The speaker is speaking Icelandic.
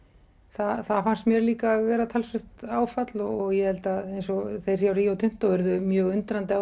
það fannst mér líka vera talsvert áfall og ég held að eins og þeir hjá Rio Tinto urðu mjög undrandi á